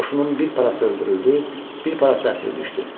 Qoşunun bir parası öldürüldü, bir parası əsir düşdü.